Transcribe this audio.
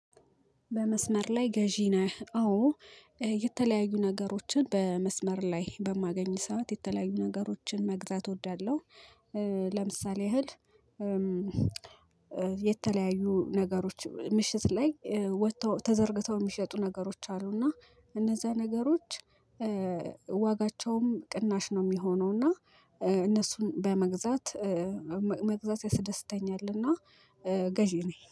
በመስመር ላይ ገዢ ነህ? አዎ የተለያዩ ነገሮችን በመስመር ላይ በማገኝ ሰዓት የተለያዩ ነገሮችን መግዛት እወዳለሁ። ለምሳሌ እህል። የተለያዩ ነገሮች ምሽት ላይ ወጥተው ተዘርግተው የሚሸጡ ነገሮች አሉ። እና እነዛ ነገሮች ዋጋቸውም ቅናሽ ነው የሚሆነው። እና እነሱን በመግዛት መግዛት ያሰደሰተኛልና ገዢ ነኝ